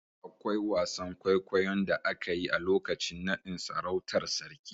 Akwai wasan kwaikwayon da aka yi a lokacin naɗn sarautar sarki